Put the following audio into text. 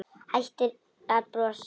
Hættir að brosa.